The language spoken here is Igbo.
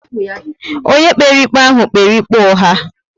Ónyé kpere ikpe ahụ kpere ikpe ugha